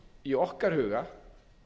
í okkar huga